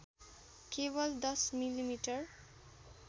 केवल १० मि मि